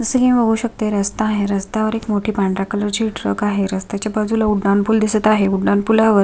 जस की मी बघू शकते रस्ता आहे रस्त्या वर एक मोठी पांढऱ्या कलरची ट्रक आहे रस्त्याच्या बाजूला उड्डाण पूल दिसत आहे उड्डाण पुलावर --